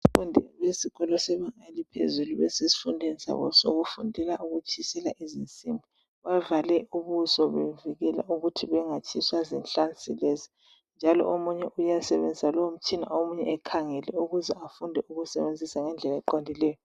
Abafundi besikolo sebanga eliphezulu basesifundweni sabo sokufundela ukutshisela izinsimbi. Bavale ubuso bevikela ukuthi bengatshiswa zinhlansi lezi njalo omunye uyasebenzisa lowomtshina omunye ekhangele ukuze afunde ukuwasebenzisa ngendlela eqondileyo.